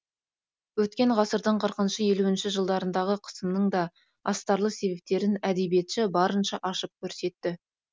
өткен ғасырдың қырқыншы елуінші жылдарындағы қысымның да астарлы себептерін әдебиетші барынша ашып көрсетті